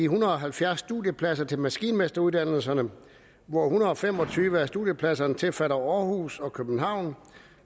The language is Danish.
hundrede og halvfjerds studiepladser til maskinmesteruddannelserne hvor en hundrede og fem og tyve af studiepladserne tilfalder aarhus og københavn